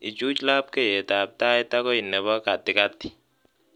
Ichuch labkeyetab tait akoi nebo katikati